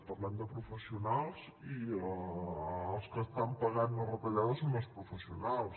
parlem de professionals i els que estan pagant les retallades són els professionals